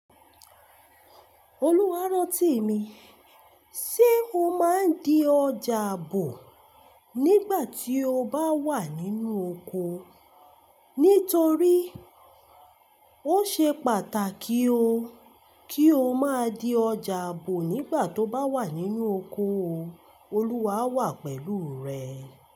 Olúwarọ́tími, ṣe o máa ń di ọjà ààbò nígbà tí o bá wà nínú oko? Nítorí ó ṣe pàtàkì ó kí o máa di ọjà ààbò nígbà tó bá wà nínú oko o, Olúwa wà pẹ̀lú rẹ.